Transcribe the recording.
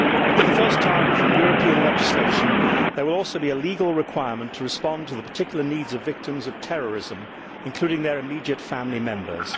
For the first time in European legislation there will also be a legal requirement to respond to the particular needs of victims of terrorism, including their immediate family members.